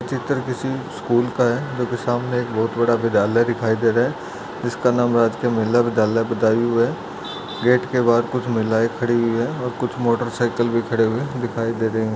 यह चित्र किसी स्कूल का है जो के सामने एक बहुत बड़ा विद्यालय दिखाई दे रहा है जिसका नाम राजकीय महिला विद्यालय बदायूं है गेट के बाहर कुछ महिलाएं खड़ी हुई हैं और कुछ मोटरसाइकिल भी खड़े हुए दिखाई दे रहे हैं।